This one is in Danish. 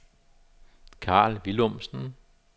Carl Willumsen